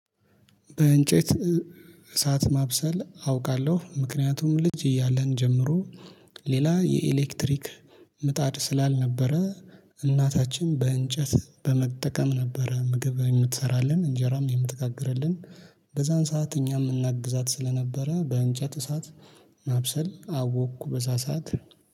በእንጨት እሳት ማብሰል አውቃለሁ ምክንያቱም ልጅ እያለን ጀምሮ ሌላ የኤሌክትሪክ ምጣድ ስላልነበረ እናታችን በእንጨት በመጠቀም ነበረ ምግብ የምትሰራልን እንጀራም የምትጋግርልን። በዛን ሰዓት እኛም እናግዛት ስለነበረ በእንጨት እሳት ማብሰል አወቅኩ በዛሳት